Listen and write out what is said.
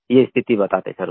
ये स्थिति बताते सर वो